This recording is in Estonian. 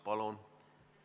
Palun!